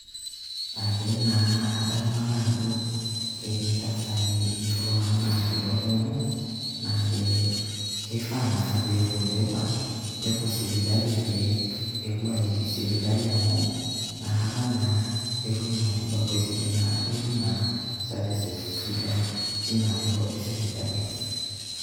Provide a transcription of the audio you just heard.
kadamu ake ajo ketii ntasati intuan natii olkung'u kake kifaa naa nepuo aiki sipitali amu nakata etum matibabu esidai netum services sidain tinasheto esipitali